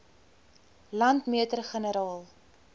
landmeter generaal